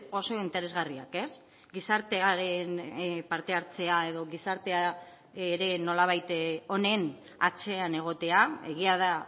oso interesgarriak ez gizartearen parte hartzea edo gizartea ere nolabait honen atzean egotea egia da